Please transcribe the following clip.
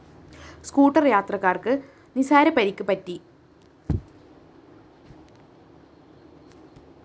scooter യാത്രികര്‍ക്ക് നിസാര പരിക്ക് പറ്റി